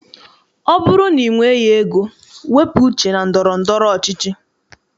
Ọ bụrụ na i nweghị ego, wepụ uche na ndọrọndọrọ ọchịchị.